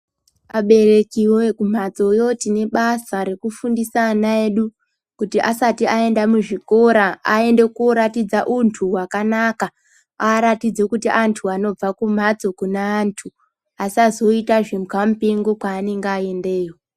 Vaberekiyo kumbatsoyo tine basa rekufundisa ana edu kuti asati aenda muzvikora aratidze untu hwakanaka, aratidze kuti antu anobva kumhatso kune antu asazoita zvimbwamupingo kwaanenge aendeyo.